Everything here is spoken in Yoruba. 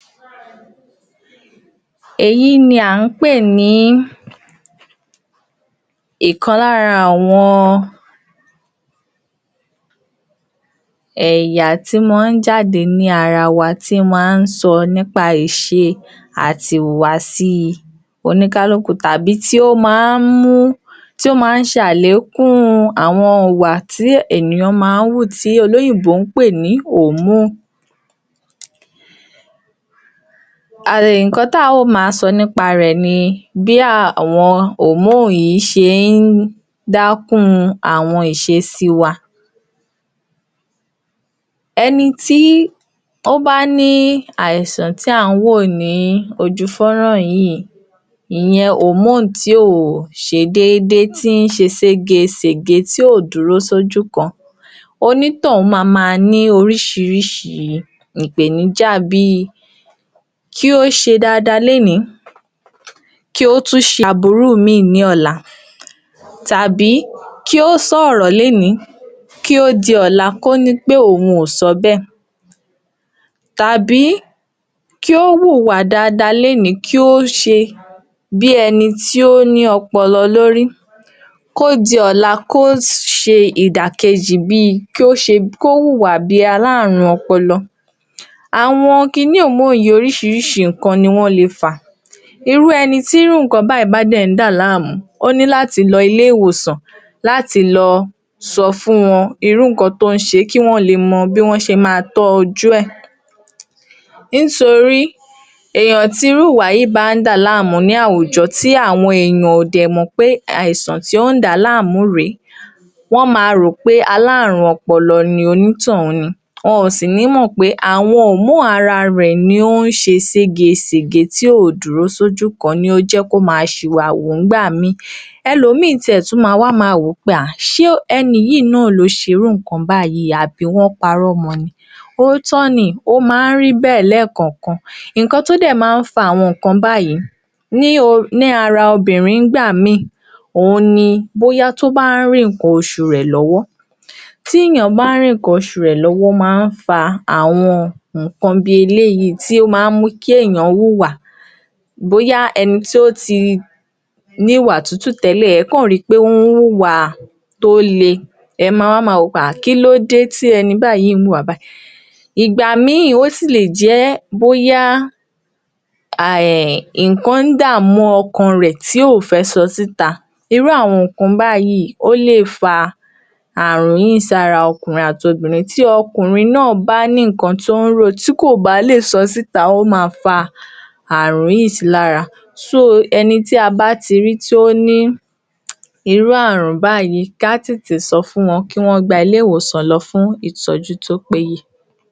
Èyí ni à ń pè ní ọ̀kan lára àwọn ẹ̀yà tí máa ń jáde ní ara wa ti máa ń sọ nípa ìṣe àti ìhùwàsí ọníkálúkùú tàbí tí ó máa ń mú tí ó máa n ṣe àlékún àwọn ìwà tí ènìyàn máa ń wù tí olóyìnbó ń pè ni nǹkan tí á ò ma sọ nípa rẹ̀ ni bí àwọn yìí ṣe ń dákún àwọn ìṣésí wa ẹni tí ó bá ní àìsàn tí à ń wò lójú fọ́nrán yìí ìyẹn tí ò ṣe dédé tí ń ṣe ségesège tí ò dúró sí ojú kan onítọ̀hún mama ní oríṣiríṣi ìpèníjà bíi kí ó ṣe dada lónìí kí ó tún ṣe aburú mi lọ́la tàbí kí ó sòrò lónìí kó di ọ̀la kó ní pé òun kò sọ bẹ́ẹ̀ tàbí kí ó wùwà dada lónìí kí ó ṣe bí ẹni tí ó ní ọpọlọ lórí kó di ọla kí ó ṣe ìdàkejì bíi kí ó wùwà bíi alárùn ọpọlọ àwọn kíni yìí oríṣiríṣi nǹkan ni wọ́n le fà irú ẹni tí irú nǹkan bẹ́ẹ̀ bá ń dẹ̀ dà lámùú ó ní láti lọ ilé-ìwòsàn láti lọ sọ fún wọn irú nǹkan tí ó ń ṣe kí wọ́n lè mọ bí wọ́n ṣe má tọ́jú rẹ̀ nítorí èèyàn tí irú ìwà yìí bá ń dà lámùú ní àwùjọ tí àwọn ènìyàn ò dè mọ̀ wí pé àìsàn tí ó ń dàá láàmú rẹ̀ẹ́ wọ́n ma rò pé alárùn ọpọlọ ni onítọ̀hún ni wọ́n ó sì ní mọ pe awon ara rẹ̀ ni ó ń ṣe ségesège tí ò dúró sí ojú kan ni ó njẹ́ kí ó ma ṣì wàwù nígbà míì ẹlò ìmíì tiẹ̀ tún ma ma wò pé ṣe ẹni yìí náà ló ṣe irú ìkan báyìí àbí wọ́n parọ́ mọ òtọ́ọ́ ni ó máa ń ríbẹ̀ lẹ́ẹ̀kankàn nǹkan tí ó dé máa ń fa àwọn nǹkan báyìí ni ara obìnrin nígbà ìmí òun ni bóyá tó bá ń rí nǹkan oṣù rẹ̀ lọ́wọ́ tí ènìyàn bàa ń rí nǹkan oṣù rẹ̀ lọ́wọ́ máa ń fa àwọn nǹkan bí eléyìí tí ó máa ń mú kí èèyàn wùwà bóyá ẹni tí ó ti ní ìwà tútù tẹ́lẹ̀ ẹ̀ ó kọ̀ rí wí pé ó ń wùwà tó le ẹ̀ ó máma wò wí pé kilode tí ẹni báyìí wùwà báyìí ìgbà ìmí ó sì lè jẹ́ bóyá nǹkan ń dà mú ọkàn rẹ̀ tí ó fẹ̀ sọ síta irú àwọn nǹkan báyìí ó lè fa àrùn yìí sára ọkùnrin àti obìnrin tí ọkùnrin náà bá ní nǹkan tí ó ń rò tí kò bá lè sọ síta ó ma fa àrùn yíì si lára ẹni tí a bá ti rí tí ó ní irú àrùn báyìí kí a tètè sọ fún wọn kí wọ́n gba ilé-ìwòsàn lọ fún ìtọ́jú tí ó péye